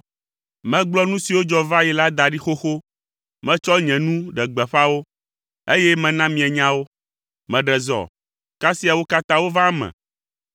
Megblɔ nu siwo dzɔ va yi la da ɖi xoxo. Metsɔ nye nu ɖe gbeƒã wo, eye mena mienya wo. Meɖe zɔ, kasia wo katã wova eme,